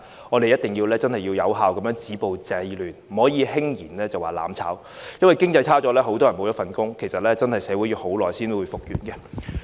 我們一定要有效地止暴制亂，不可輕言"攬炒"，因為經濟衰退會導致很多人失去工作，社會真的要花很長時間才能復原。